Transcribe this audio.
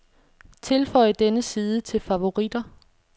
Tilføj denne side til favoritter.